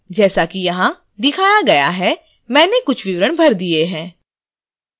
जैसा कि यहां दिखाया गया है मैंने कुछ विवरण भर दिए हैं